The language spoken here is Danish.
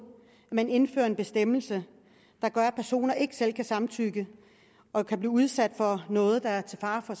at man indfører en bestemmelse der gør at personer ikke selv kan samtykke og kan blive udsat for noget der er til fare for